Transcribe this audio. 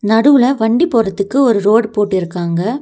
நடுவுல வண்டி போறதுக்கு ஒரு ரோடு போட்டுருக்காங்க.